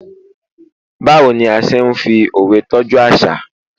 bawo ni a se n fi òwe tọju aṣa